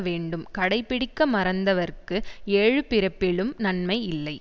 வேண்டும் கடைப்பிடிக்க மறந்தவர்க்கு ஏழு பிறப்பிலும் நன்மை இல்லை